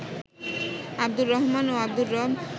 আব্দুর রহমান ও আব্দুর রব